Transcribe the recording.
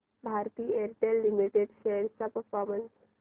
Bharti Airtel limited shares चा performance